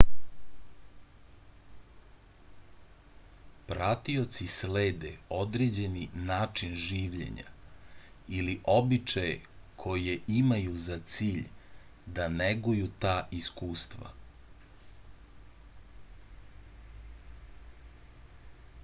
pratioci slede određeni način življenja ili običaje koje imaju za cilj da neguju ta iskustva